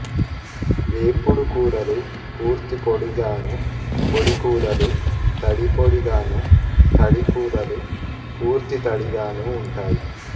వేపుడు కూరలు పూర్తి పొడిగాను పొడి కూరలు తడి పొడి గాను తడి కూరలు పూర్తి తడిగాను ఉంటాయి